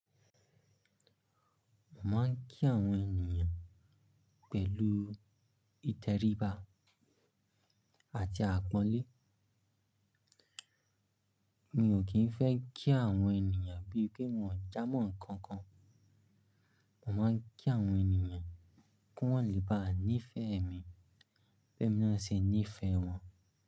Mo máa ń kí àwọn ènìyàn pẹ̀lú ìtẹríba àti àpọ́nlé. Mi ò kìí ń fẹ́ kí àwọn ènìyàn bíi pé wọn ò jámọ́ nǹkan kan. Mo máa ń kí àwọn ènìyàn kí wọ́n lè bá níìfẹ̀ẹ́ mi, bí ẹ mi na ṣe níìfẹ́ wọn.